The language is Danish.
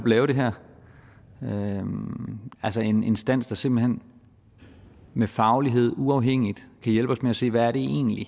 lave det her altså en instans der simpelt hen med faglighed uafhængigt kan hjælpe os med at se hvad det egentlig